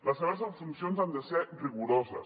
les seves funcions han de ser rigoroses